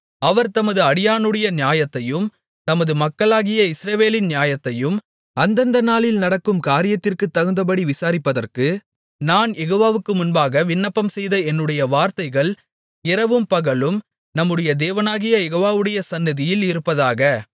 அவர் தமது அடியானுடைய நியாயத்தையும் தமது மக்களாகிய இஸ்ரவேலின் நியாயத்தையும் அந்தந்த நாளில் நடக்கும் காரியத்திற்குத் தகுந்தபடி விசாரிப்பதற்கு நான் யெகோவாவுக்கு முன்பாக விண்ணப்பம்செய்த என்னுடைய வார்த்தைகள் இரவும்பகலும் நம்முடைய தேவனாகிய யெகோவாவுடைய சந்நிதியில் இருப்பதாக